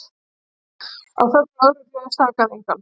Að sögn lögreglu sakaði engan